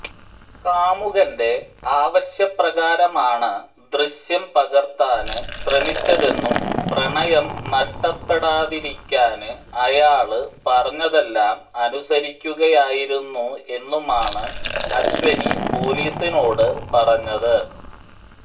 കാമുകന്റെ ആവശ്യപ്രകാരമാണ് ദൃശ്യം പകര്ത്താന് ശ്രമിച്ചതെന്നും പ്രണയം നഷ്ടപ്പെടാതിരിക്കാന് അയാള് പറഞ്ഞതെല്ലാം അനുസരിക്കുകയായിരുന്നു എന്നുമാണ് അശ്വിനി പൊലീസിനോട് പറഞ്ഞത്